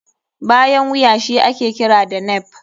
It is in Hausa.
Bayan wuya shi ake kira da nape.